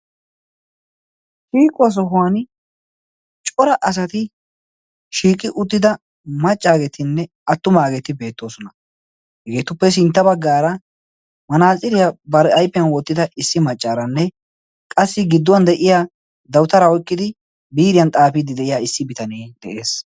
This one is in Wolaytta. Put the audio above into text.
Shiiquwa Sohuwan cora asati shiiqi uttida maccageetinne attumageeti beettoosona. Hegetuppe sintta baggara manaxxiriya bari ayfiyaan wottidda issi maccaaranne qassi gidduwan de'iyaa dawutara oykkidi biiriya xaafide de'iyaa issi bitanee de'ees.